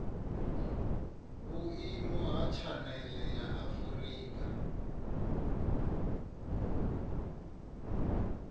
vhuimo ha tshanele ya afurika